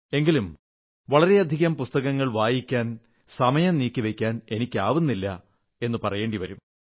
എങ്കിലും വളരെയധികം പുസ്തകങ്ങൾ വായിക്കാൻ സമയം നീക്കിവയ്ക്കാൻ എനിക്കാവുന്നില്ല എന്നു പറയേണ്ടി വരും